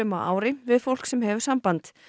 á ári við fólk sem hefur samband